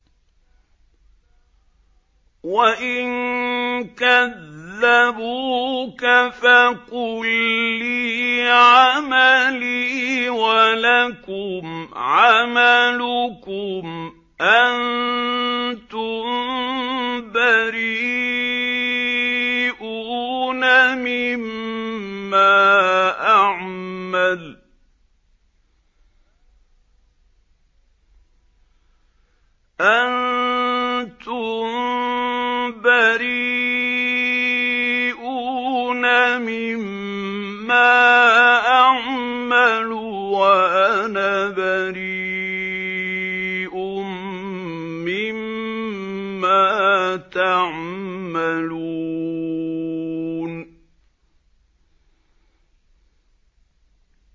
وَإِن كَذَّبُوكَ فَقُل لِّي عَمَلِي وَلَكُمْ عَمَلُكُمْ ۖ أَنتُم بَرِيئُونَ مِمَّا أَعْمَلُ وَأَنَا بَرِيءٌ مِّمَّا تَعْمَلُونَ